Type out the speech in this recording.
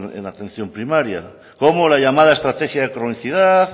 en atención primaria cómo la llamada estrategia de cronicidad